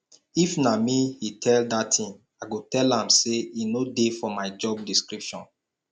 if na me he tell dat thing i go tell am say e no dey for my job description